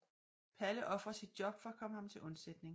Palle ofrer sit job for at komme ham til undsætning